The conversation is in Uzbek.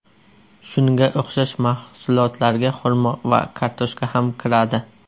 Shunga o‘xshash mahsulotlarga xurmo va kartoshka ham kiradi.